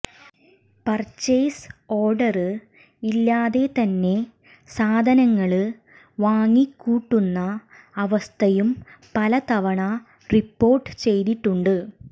purchase order ഇല്ലാതെ തന്നെ സാധനങ്ങള് വാങ്ങിക്കൂട്ടുന്ന അവസ്ഥയും പല തവണ റിപ്പോര്ട്ട് ചെയ്തിട്ടുണ്ട്